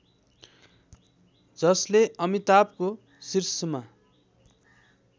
जसले अमिताभको शीर्षमा